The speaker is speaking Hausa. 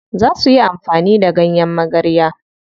Za suyi amfani da ganyen magarya.